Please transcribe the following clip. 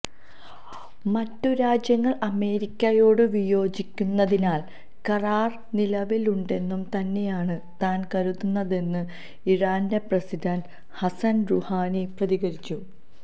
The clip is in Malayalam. മറ്റുരാജ്യങ്ങള് അമേരിക്കയോടു വിയോജിക്കുന്നതിനാല് കരാര് നിലവിലുണ്ടെന്നു തന്നെയാണ് താന് കരുതുന്നതെന്ന് ഇറാന്റെ പ്രസിഡന്റ് ഹസന് റൂഹാനി പ്രതികരിച്ചു